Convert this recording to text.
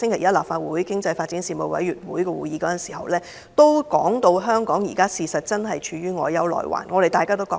在立法會經濟發展事務委員會星期一的會議上，邱騰華局長表示香港現正陷於內憂外患，我們亦有同感。